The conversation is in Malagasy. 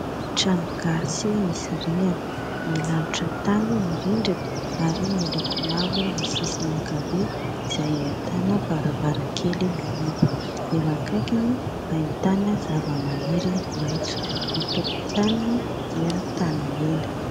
Trano gasy misy rihana, milalotra tany ny rindriny ary miloko mavo ny sisiny ankavia izay ahitana varavarankely mihidy ; eo akaikiny ahitana zava-maniry maitso ; ny tokontaniny dia tany mena.